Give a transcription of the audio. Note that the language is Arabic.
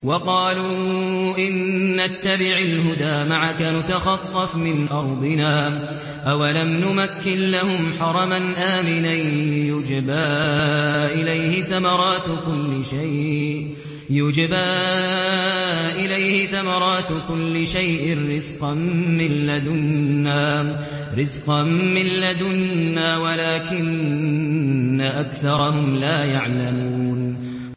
وَقَالُوا إِن نَّتَّبِعِ الْهُدَىٰ مَعَكَ نُتَخَطَّفْ مِنْ أَرْضِنَا ۚ أَوَلَمْ نُمَكِّن لَّهُمْ حَرَمًا آمِنًا يُجْبَىٰ إِلَيْهِ ثَمَرَاتُ كُلِّ شَيْءٍ رِّزْقًا مِّن لَّدُنَّا وَلَٰكِنَّ أَكْثَرَهُمْ لَا يَعْلَمُونَ